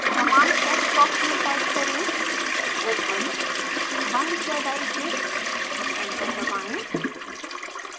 command text box में type करें open 1zik enter दबाएँ